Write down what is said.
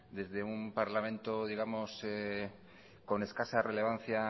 desde un parlamento digamos con escasa relevancia